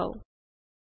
enter ਦਬਾਓ